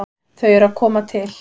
Þau eru að koma til.